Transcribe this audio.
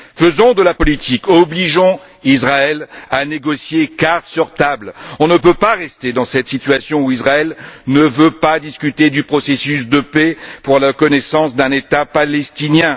Faisons de la politique et obligeons Israël à négocier cartes sur table. On ne peut pas rester dans cette situation où Israël ne veut pas discuter du processus de paix pour la reconnaissance d'un État palestinien.